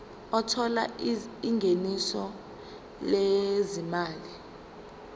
othola ingeniso lezimali